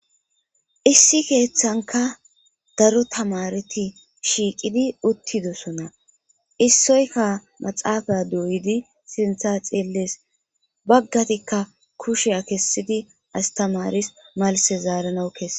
issi keeththanka daro tamareti shiiqidi uttidosonna issoyka maxaafay doyidi sintha xielles baggatikka kusheya kessidi astamaris malse zaaranawu kesse